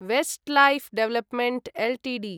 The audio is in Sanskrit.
Westlife development Ltd